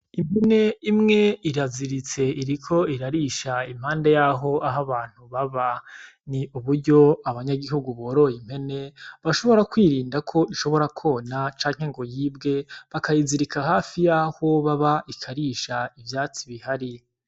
Impene imwe iraziritse iriko irarisha impande yaho aho abantu baba ni uburyo abanyagihugu boroye impene bashobora kw'irinda ko ishobora kona canke ngo yibwe bakayizirika hafi yaho baba ikarisha ivyatsi bihari .